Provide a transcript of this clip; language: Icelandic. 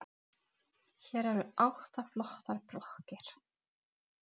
Viljiði koma með í ísbíltúr?